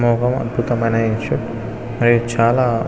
మనం ఆడుతాం .ఆయన ఇంశిర్ట్ మరి చాల